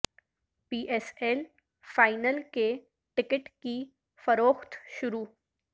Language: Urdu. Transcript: پی ایس ایل فائنل کے ٹکٹ کی فروخت شروع